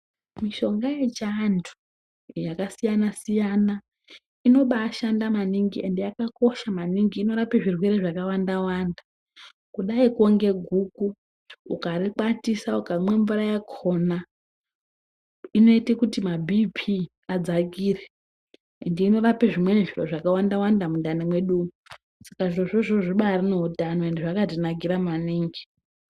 Mishonga yechiantu yakasiyana siyana inobaashanda maningi ende yakakosha maningi inorape zvirwere zvakawanda wanda kudayikwo ngeguku ukarikwatisa ukamwa mvura yakhona inoite kuti mabhiipi adzakire ende inorape zvimweni zviro zvakawanda wanda mundani mwedu umwu. Saka zvirozvo izvozvo zvibaari neutano ende zvakatinakira maningi.